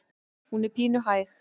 Hún er pínu hæg.